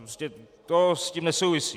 Prostě to s tím nesouvisí.